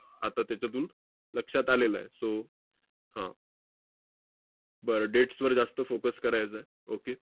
आता तेच्यातून लक्षात आलेलं आहे. so हा. बर, dates वर जास्त focus करायचं आहे. okay